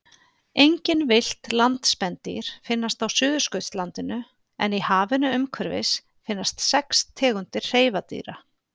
Engin villt landspendýr finnast á Suðurskautslandinu en í hafinu umhverfis finnast sex tegundir hreifadýra.